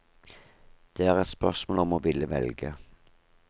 Det er et spørsmål om å ville velge.